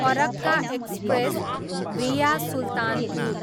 Farakka express, via Sultanpur